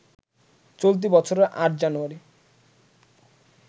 চলতি বছরের ৮ জানুযারি